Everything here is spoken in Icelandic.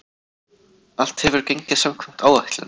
Allt hefur gengið samkvæmt áætlun.